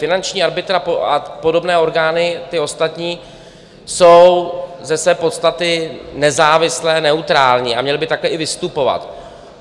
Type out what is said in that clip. Finanční arbitr a podobné orgány, ty ostatní, jsou ze své podstaty nezávislé, neutrální, a měly by takhle i vystupovat.